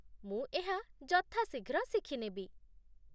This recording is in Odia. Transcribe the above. ମୁଁ ଏହା ଯଥା ଶୀଘ୍ର ଶିଖି ନେବି